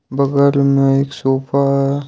बगल में एक सोफा है।